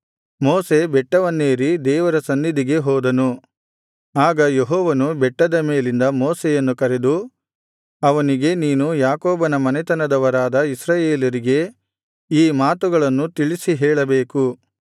ಮೋಶೆ ಬೆಟ್ಟವನ್ನೇರಿ ದೇವರ ಸನ್ನಿಧಿಗೆ ಹೋದನು ಆಗ ಯೆಹೋವನು ಬೆಟ್ಟದ ಮೇಲಿಂದ ಮೋಶೆಯನ್ನು ಕರೆದು ಅವನಿಗೆ ನೀನು ಯಾಕೋಬನ ಮನೆತನದವರಾದ ಇಸ್ರಾಯೇಲರಿಗೆ ಈ ಮಾತುಗಳನ್ನು ತಿಳಿಸಿ ಹೇಳಬೇಕು